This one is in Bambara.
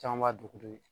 Caman b'a dugudenw ye